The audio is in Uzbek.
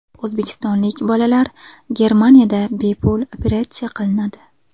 O‘zbekistonlik bolalar Germaniyada bepul operatsiya qilinadi.